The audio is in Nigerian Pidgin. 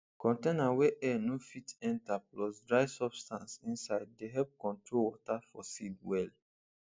container wey air no fit enter plus dry substance inside dey help control water for seed well